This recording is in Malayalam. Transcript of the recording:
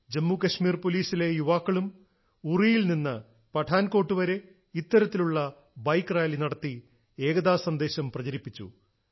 ജമ്മുകശ്മീർ പോലീസിലെ യുവാക്കളും ഉറിയിൽ നിന്നും പഠാൻകോട്ട് വരെ ഇത്തരത്തിലുള്ള ബൈക്ക് റാലി നടത്തി ഏകതാ സന്ദേശം പ്രചരിപ്പിച്ചു